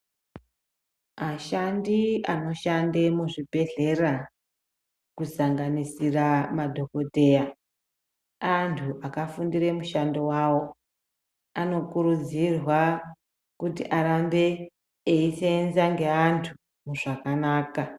Ashandi anoshanda muzvibhedhlera kusanganisira madhokodheya antu akafundire mushando wawo anokurudzirwa kuti arambe echiseenza nevantu zvakanaka